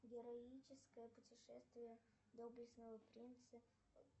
героическое путешествие доблестного принца